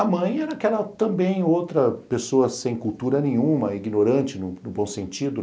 A mãe era aquela também outra pessoa sem cultura nenhuma, ignorante, no bom sentido.